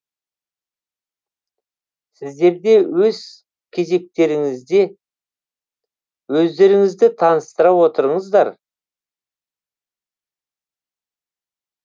сіздерде өз кезектеріңізде өздеріңізді таныстыра отырыңыздар